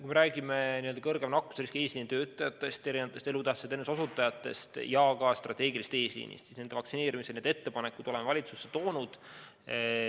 Kui me räägime suurema nakkusriskiga eesliinitöötajatest, elutähtsate teenuste osutajatest ja ka strateegilisest eesliinist, siis nende vaktsineerimise ettepanekud oleme valitsusse toonud.